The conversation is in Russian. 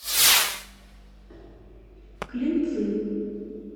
клинцы